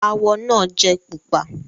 Àwọ̀ náà jẹ́ pupa